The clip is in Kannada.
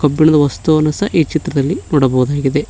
ಕಬ್ಬಿಣದ ವಸ್ತುವನ್ನು ಸಹ ಈ ಚಿತ್ರದಲ್ಲಿ ನೋಡಬಹುದಾಗಿದೆ.